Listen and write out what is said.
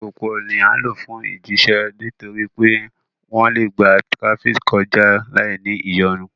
Alupupu ní a ǹ lo fún ifijiṣẹ nítorí pé wón le gbà tirafiki kọja láì ní ìyọnu